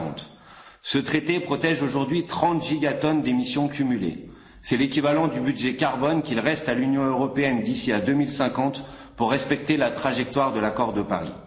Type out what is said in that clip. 2040. Ce traité protège aujourd'hui 30 gigatonnes d'émissions cumulées, c'est l'équivalent du budget carbone qu'il reste à l'Union européenne d'ici à 2050 pour respecter la trajectoire de l'accord de Paris.